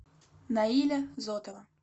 наиля зотова